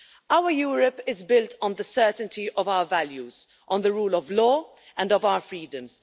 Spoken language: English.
Our Europe is built on the certainty of our values, on the rule of law and of our freedoms.